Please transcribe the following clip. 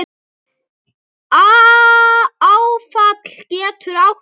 Áfall getur átt við